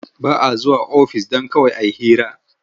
Ba a zuwa ofis don kawai a yi hira.